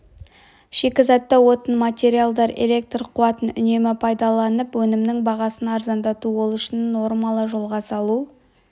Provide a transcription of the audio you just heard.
шикізатты отын материалдар электр қуатын үнемді пайдаланып өнімнің бағасын арзандату ол үшін нормалы жолға салу